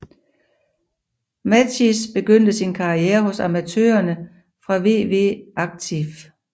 Matthijs begyndte sin karriere hos amatørerne fra VV Actief